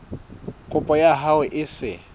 kopo ya hao e se